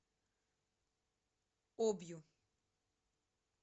обью